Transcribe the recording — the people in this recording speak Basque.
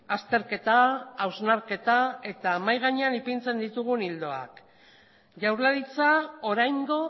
azterketa hausnarketa eta mahai gainean ipintzen ditugun ildoak jaurlaritza oraingo